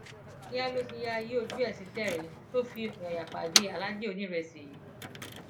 kíá ló ti yáa yí ojú ẹ sí tẹrín tó fi ọyàyà pàdé aláàjì onírésì yìí